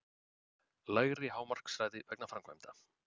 Lægri hámarkshraði vegna framkvæmda